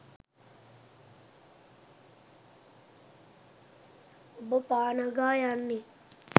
ඔබ පා නගා යන්නේ